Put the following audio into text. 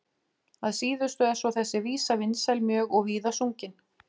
Að síðustu er svo þessi vísa vinsæl mjög og víða sungin.